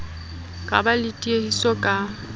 ka ba le tiehiso ka